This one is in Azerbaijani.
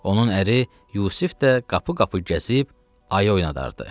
Onun əri Yusif də qapı-qapı gəzib, ayı oynadardı.